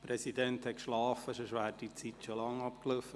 Der Präsident hat geschlafen, sonst wäre die Zeit längst abgelaufen.